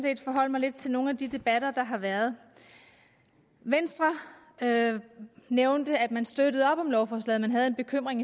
set forholde mig lidt til nogle af de debatter der har været venstre nævnte at man støttede op om lovforslaget men havde en bekymring